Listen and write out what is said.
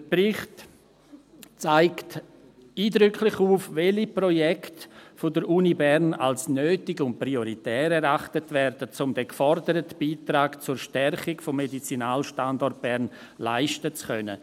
Der Bericht zeigt eindrücklich auf, welche Projekte der Uni Bern als nötig und prioritär erachtet werden, um den geforderten Beitrag zur Stärkung des Medizinalstandorts Bern leisten zu können.